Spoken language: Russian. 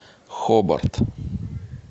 хобарт